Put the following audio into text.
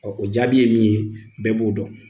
o jaabi ye min ye, bɛɛ b'o dɔn.